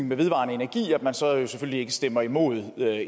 med vedvarende energi selvfølgelig ikke stemmer imod